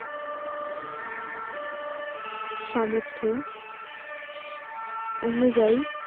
সামর্থ অনুযায়ী